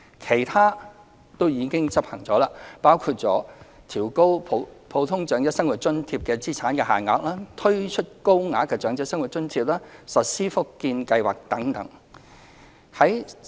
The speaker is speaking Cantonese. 其他措施均已執行，當中包括調高普通長者生活津貼的資產限額、推出高額長者生活津貼、實施福建計劃等。